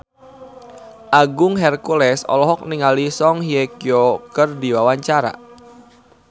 Agung Hercules olohok ningali Song Hye Kyo keur diwawancara